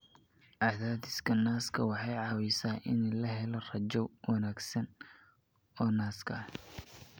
Cadaadiska naaska waxay caawisaa in la helo raajo wanaagsan oo naaska.